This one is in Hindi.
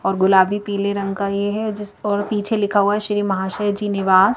और गुलाबी पीले रंग का ये है जिसपर पीछे लिखा है श्री महाशय जी निवास।